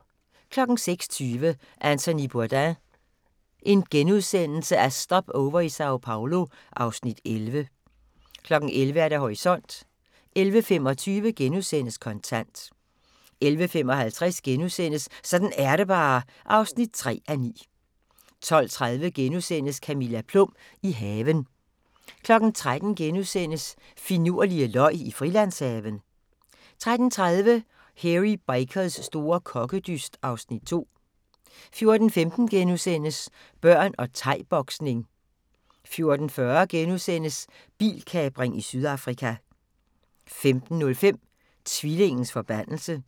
06:20: Anthony Bourdain – Stopover i Sao Paolo (Afs. 11)* 11:00: Horisont 11:25: Kontant * 11:55: Sådan er det bare (3:9)* 12:30: Camilla Plum – i haven * 13:00: Finurlige løg Frilandshaven * 13:30: Hairy Bikers store kokkedyst (Afs. 2) 14:15: Børn og thai-boksning * 14:40: Bilkapring i Sydafrika * 15:05: Tvillingens forbandelse